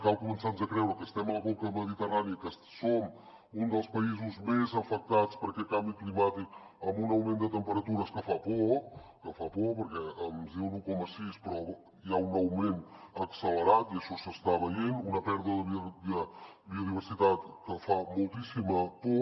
cal començar nos a creure que estem a la conca mediterrània i que som un dels països més afectats per aquest canvi climàtic amb un augment de temperatures que fa por que fa por perquè ens diuen un coma sis però hi ha un augment accelerat i això s’està veient una pèrdua de biodiversitat que fa moltíssima por